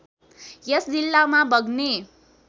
यस जिल्लामा बग्ने